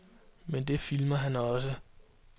Men det filmer han også.